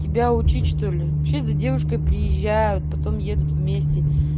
тебя учить что ли вообще за девушкой приезжают потом едут вместе